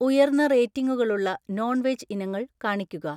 ഉയർന്ന റേറ്റിംഗുകളുള്ള non veg ഇനങ്ങൾ കാണിക്കുക